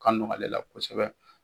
Ka nɔgɔ ale la kosɛbɛ